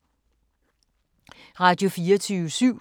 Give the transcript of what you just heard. Radio24syv